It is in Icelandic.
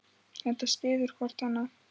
Þetta styður hvort annað.